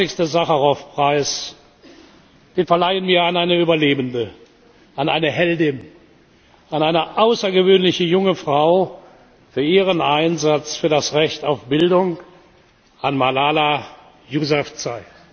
25. Sacharow Preis, den verleihen wir an eine Überlebende, an eine Heldin, an eine außergewöhnliche junge Frau, für ihren Einsatz für das Recht auf Bildung an Malala Yousafzai.